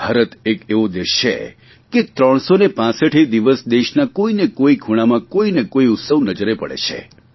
ભારત એક એવો દેશ છે કે ત્રણસોને પાંસઠેય દિવસ દેશના કોઇને કોઇ ખૂણામાં કોઇને કોઇ ઉત્સવ નજરે પડે છે